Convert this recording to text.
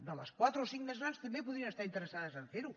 de les quatre o cinc més grans també podrien estar interessades a fer ho